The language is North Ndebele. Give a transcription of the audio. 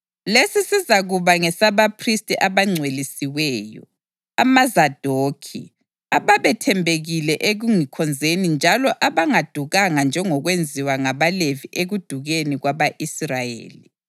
Lesi sizakuba ngesabaphristi abangcwelisiweyo, amaZadokhi, ababethembekile ekungikhonzeni njalo abangadukanga njengokwenziwa ngabaLevi ekudukeni kwama-Israyeli.